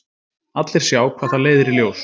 Allir sjá hvað það leiðir í ljós.